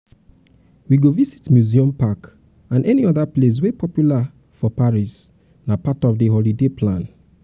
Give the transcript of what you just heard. we go visit museum park and any other place wey popular for paris nah part of di holiday plan.